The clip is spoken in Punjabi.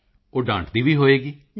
ਮੋਦੀ ਜੀ ਉਹ ਡਾਂਟਦੀ ਵੀ ਹੋਵੇਗੀ